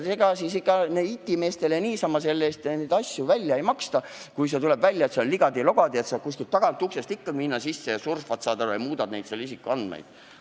Ega IT-meestele niisama neid asju välja makstaks, kui tuleks välja, et süsteem on ligadi-logadi ja kuskilt tagauksest saab ikkagi sisse minna ja surfata ja isikuandmeid muuta.